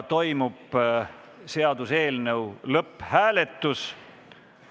Toimub seaduseelnõu lõpphääletus.